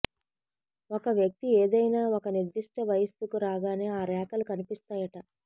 ఒక వ్యక్తి ఏదైనా ఒక నిర్దిష్ట వయస్సుకు రాగానే ఆ రేఖలు కనిపిస్తాయట